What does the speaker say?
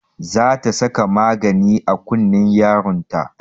Za ta saka magani a kunnen yaron ta